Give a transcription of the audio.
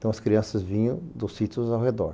Então as crianças vinham dos sítios ao redor.